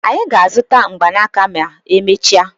Anyị ga-azụta mgbanaka ma emechaa.